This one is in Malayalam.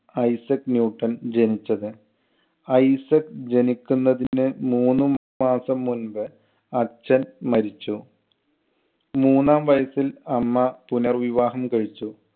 ഐസക് ന്യൂട്ടൻ ജനിച്ചത്. ഐസക് ജനിക്കുന്നതിന് മൂന്നുമാസം മുമ്പ് അച്ഛൻ മരിച്ചു. മൂന്നാം വയസ്സിൽ അമ്മ പുനർവിവാഹം കഴിച്ചു.